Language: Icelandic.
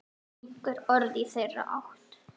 Einhver orð í þeirra átt?